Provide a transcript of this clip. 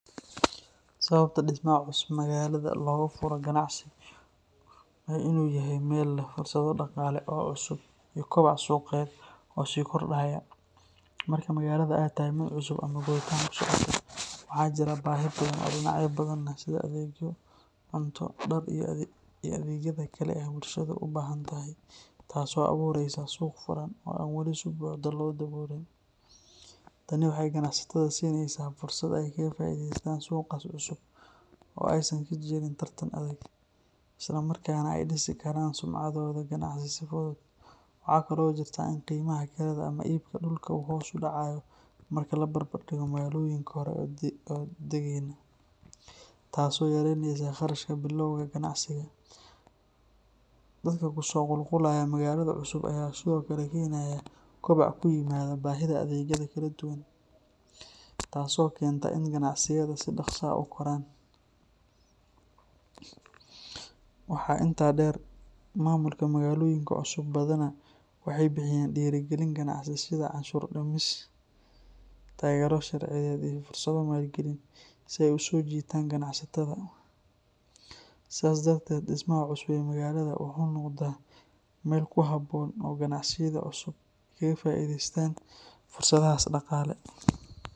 Sababta dhismaha cusub magaalada looga furo ganacsi waa in uu yahay meel leh fursado dhaqaale oo cusub iyo koboc suuqeed oo sii kordhaya. Marka magaalada ay tahay mid cusub ama koritaan ku socota, waxaa jira baahi badan oo dhinacyo badan leh sida adeegyo, cunto, dhar, iyo adeegyada kale ee bulshadu u baahan tahay, taasoo abuuraysa suuq furan oo aan weli si buuxda loo daboolin. Tani waxay ganacsatada siinaysaa fursad ay kaga faa’iidaystaan suuqaas cusub oo aysan ka jirin tartan adag, isla markaana ay dhisi karaan sumcaddooda ganacsi si fudud. Waxaa kale oo jirta in qiimaha kirada ama iibka dhulka uu hoos u dhacayo marka la barbar dhigo magaalooyinka hore u deggenaa, taasoo yareynaysa kharashka bilowga ganacsiga. Dadka ku soo qulqulaya magaalada cusub ayaa sidoo kale keenaya kobac ku yimaada baahida adeegyada kala duwan, taasoo keenta in ganacsiyada si dhaqso ah u koraan. Waxaa intaa dheer, maamulka magaalooyinka cusub badanaa waxay bixiyaan dhiirrigelin ganacsi sida cashuur-dhimis, taageero sharciyeed iyo fursado maalgelin, si ay u soo jiitaan ganacsatada. Sidaas darteed, dhismaha cusub ee magaalada wuxuu noqdaa meel ku habboon oo ganacsiyada cusub ay kaga faa’iideystaan fursadahaas dhaqaale.